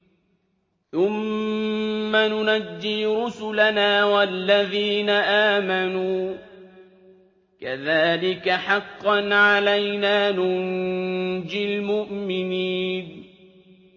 ثُمَّ نُنَجِّي رُسُلَنَا وَالَّذِينَ آمَنُوا ۚ كَذَٰلِكَ حَقًّا عَلَيْنَا نُنجِ الْمُؤْمِنِينَ